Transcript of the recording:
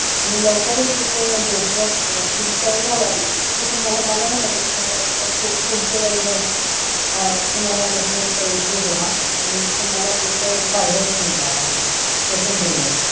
आणि लवकरच तिथे network install झालं ना मला नाही वाटत तुम्हाला पुढचे काही वर्ष तुम्हाला network चा issue होणार आणि तुम्हाला त्याचा फायदाच मिळणार आहे तस होईलच